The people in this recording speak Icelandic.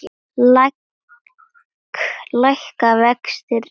Lækka vextir enn frekar?